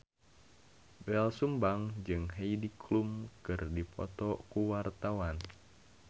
Doel Sumbang jeung Heidi Klum keur dipoto ku wartawan